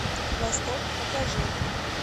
восток покажи